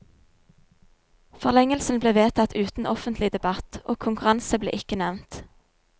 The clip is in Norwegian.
Forlengelsen ble vedtatt uten offentlig debatt, og konkurranse ble ikke nevnt.